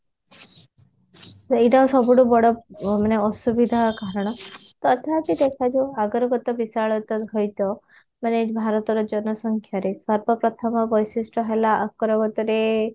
ସେଇଟା ସବୁଠୁ ବଡ ମାନେ ଅସୁବିଧାର କାରଣ ତଥାପି ଦେଖାଯାଉ ଆଗରେ ମାନେ ଏଇ ଭାରତର ଜନସଂଖ୍ୟାରେ ସର୍ବପ୍ରଥମ ବୈଶିଷ୍ଟ ହେଲା ରେ